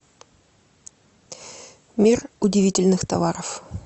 мир удивительных товаров